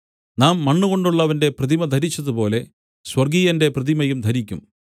നാം മണ്ണുകൊണ്ടുള്ളവന്റെ പ്രതിമ ധരിച്ചതുപോലെ സ്വർഗ്ഗീയന്റെ പ്രതിമയും ധരിക്കും